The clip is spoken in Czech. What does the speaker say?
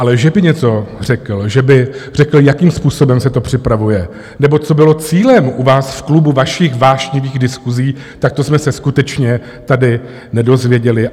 Ale že by něco řekl, že by řekl, jakým způsobem se to připravuje nebo co bylo cílem u vás v klubu vašich vášnivých diskusí, tak to jsme se skutečně tady nedozvěděli.